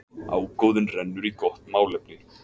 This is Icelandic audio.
Ágóðinn rennur í gott málefni.